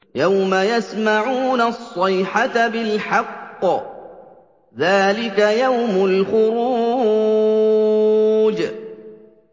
يَوْمَ يَسْمَعُونَ الصَّيْحَةَ بِالْحَقِّ ۚ ذَٰلِكَ يَوْمُ الْخُرُوجِ